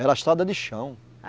Era estrada de chão.